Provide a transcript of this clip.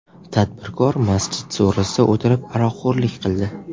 Tadbirkor masjid so‘risida o‘tirib, aroqxo‘rlik qildi.